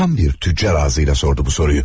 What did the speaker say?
Tam bir tüccar ağzıyla sordu bu soruyu.